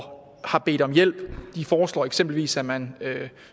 har bedt om hjælp de foreslår eksempelvis at man